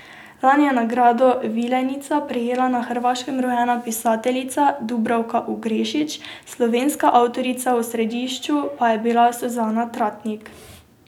Lani je nagrado vilenica prejela na Hrvaškem rojena pisateljica Dubravka Ugrešić, slovenska avtorica v središču pa je bila Suzana Tratnik.